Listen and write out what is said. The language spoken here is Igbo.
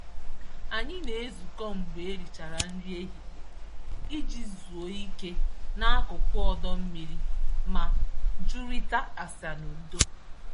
Anyị na-ezukọ mgbe e richara nri ehihie iji zuo ike n'akụkụ ọdọ mmiri ma jụrịta ase n'udo.